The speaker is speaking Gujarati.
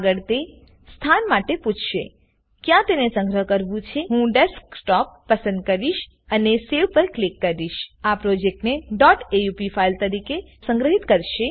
આગળ તે સ્થાન માટે પૂછશે ક્યાં તેને સંગ્રહ કરવું છેહું ડેસ્કટોપ પસંદ કરીશ અને Saveપર ક્લિક કરીશઆ પ્રોજેક્ટને aup ફાઈલ તરીકે સ્ન્ઘીત કરશે